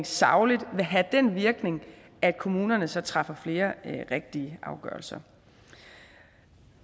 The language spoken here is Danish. sagligt vil have den virkning at kommunerne så træffer flere rigtige afgørelser